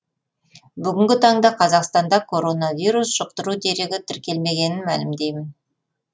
бүгінгі таңда қазақстанда коронавирус жұқтыру дерегі тіркелмегенін мәлімдеймін